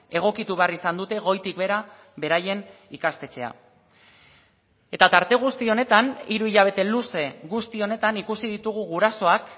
egokitu behar izan dute goitik behera beraien ikastetxea eta tarte guzti honetan hiru hilabete luze guzti honetan ikusi ditugu gurasoak